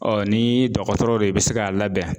nii dɔgɔtɔrɔ de be se k'a labɛn